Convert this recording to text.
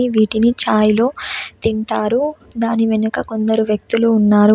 వీటిని ఛాయ్లో తింటారు. దాని వెనుక కొందరు వ్యక్తులు ఉన్నారు.